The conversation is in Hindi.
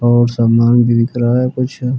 और सामान बिक रहा है कुछ।